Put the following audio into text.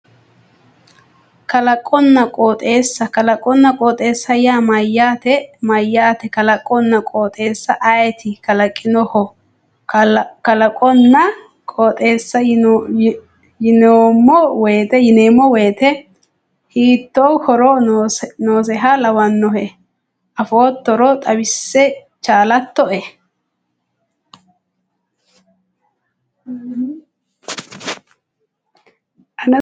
Kalaqonna qooxeessa kalaqonna qooxeessa yaa mayyaate kalaqonna qooxeessa ayeeti kalaqinoho kalaqonna qooxeessa yineemmo woyte hiittoo horo noosiha lawannohe afoottoro xawisse chaalattoe